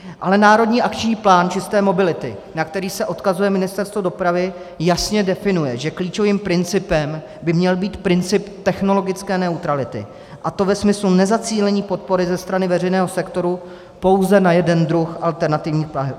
Ale Národní akční plán čisté mobility, na který se odkazuje Ministerstvo dopravy, jasně definuje, že klíčovým principem by měl být princip technologické neutrality, a to ve smyslu nezacílení podpory ze strany veřejného sektoru pouze na jeden druh alternativních paliv.